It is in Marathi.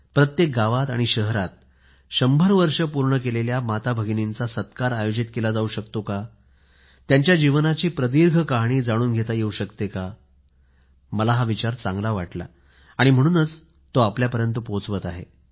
प्रत्येक गावात आणि शहरात 100 वर्षे पूर्ण केलेल्या माताभगिनींचा सत्कार आयोजित केला जाऊ शकतो का त्यांच्या जीवनाची प्रदीर्घ कहाणी जाणून घेता येऊ शकते का मला हा विचार चांगला वाटला म्हणून आपल्या पर्यंत पोहोचवत आहे